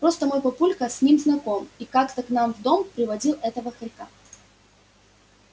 просто мой папулька с ним знаком и как-то к нам в дом приводил этого хорька